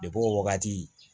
Depi o wagati